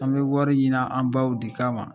An bɛ wariw ɲinin an baw de kama